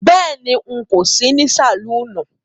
Béèni,n̄ kò sí ní sàlúúnù